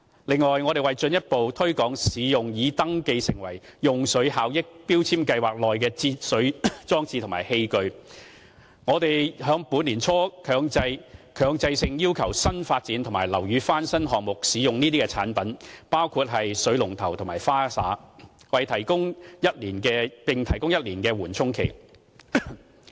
此外，為進一步推廣使用於"用水效益標籤計劃"內登記的節水裝置和器具，我們在本年年初強制性要求新發展及樓宇翻新項目，使用該等產品，包括水龍頭及花灑，並提供1年的緩衝期。